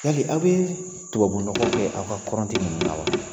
I ko tubabu